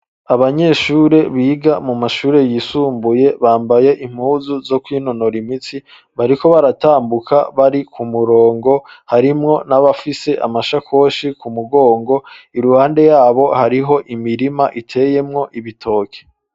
Abanyeshure biga mu mashure yisumbuye bambaye impuzu zo kwinonora imitsi bariko baratambuka bari ku murongo harimwo n'abafise amashakoshi ku mugongo, iruhande yabo hariho imirima iteyemwo ibitoki.